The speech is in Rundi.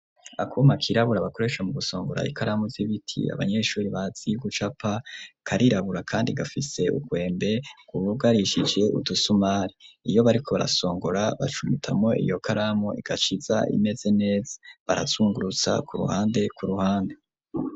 Akuma kirabura, bakoresha mu gusongora, ikaramu z'ibiti, abanyeshuri bazi gucapa; karirabura, kandi gafise urwembe, rwugarishije udusumari; iyo bariko barasongora, bacumitamwo iyo karamu, igaca iza imeze neza; barazungurutsa, ku ruhande, ku ruhande.